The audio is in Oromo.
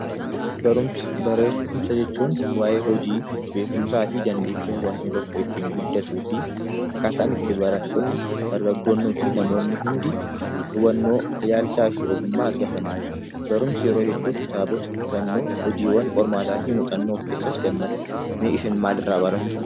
Barumsa jechuun waayee hojii beekumsaa fi dandeettii hawaasi tokko ittiin guddatuu fi akkaataa ittiin barattoonni, dargaggoonnii fi namoonni hundi hubannoo ilaalchaa fi ogummaa argatanidha. Barumsi yeroo hedduu kitaabota qo'annoo of keessatti haammata. Mee isin maal irraa barattu?